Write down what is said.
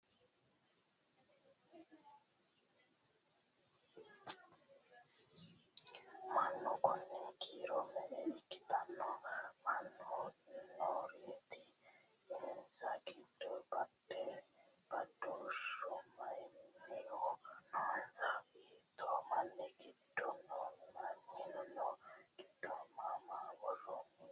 Mannu konni kiiro me'e ikkitanno? mama nooreetti? insa giddo badooshshu mayiinnihu noonnsa? Hiitto minni giddo no? Minnu giddo maa maa woroonni?